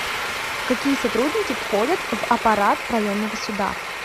какие сотрудники входят в аппарат районного суда